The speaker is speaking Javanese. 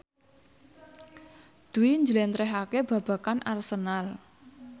Dwi njlentrehake babagan Arsenal